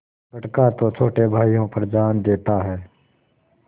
बड़का तो छोटे भाइयों पर जान देता हैं